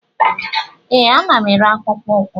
Ee, ana m ere akpụkpọ ụkwụ